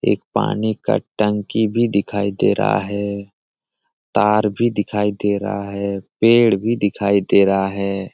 एक पानी का टंकी भी दिखाई दे रहा है तार भी दिखाई दे रहा है पेड़ भी दिखाई दे रहा है।